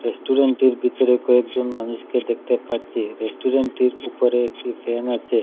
রেস্টুরেন্টের ভিতরে কয়েকজন মানুষকে দেখতে পাচ্ছি রেস্টুরেন্টটির উপরে একটি ফ্যান আছে।